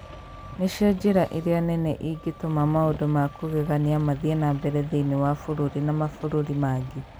Nĩcio njĩra ĩrĩa nene ĩngĩtũma maũndũ ma kũgegania mathiĩ na mbere thĩinĩ wa bũrũri na mabũrũri mangĩ.